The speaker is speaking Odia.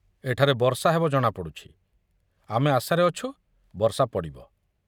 ଏଠାରେ ବର୍ଷା ହେବ ଜଣାପଡୁଛି, ଆମେ ଆଶାରେ ଅଛୁ, ବର୍ଷା ପଡ଼ିବ।